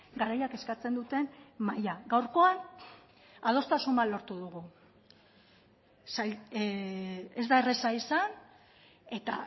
garaiak eskatzen duten maila gaurkoan adostasun bat lortu dugu ez da erraza izan eta